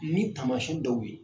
Ni taamasiyɛn dɔw ye.